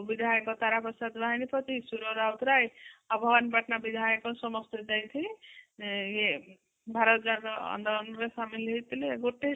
ବିଧାୟକ ତାରା ପ୍ରସାଦ ରୁହାଣି ପତି ସୁର ରାଉତ ରାୟ ଆଉ ଭବାନୀ ପଟନା ବିଧାୟକ ସମସ୍ତେ ଯାଇଥିଲେ ଇଏ ଭାରତ ଜାଗ ଆନ୍ଦୋଳନ ରେ ସାମିଲ ହୋଇଥିଲେ ଗୋଟେ